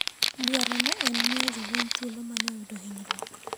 Dwaro ne en miyo jo lweny thuolo mane oyudo hinyruok ,